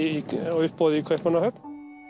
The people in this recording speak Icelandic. á uppboði í Kaupmannahöfn